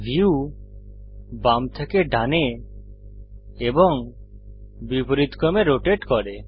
view বাম থেকে ডানে এবং বিপরীতক্রমে রোটেট করে